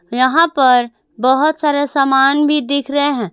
यहां पर बहोत सारे सामान भी दिख रहे हैं।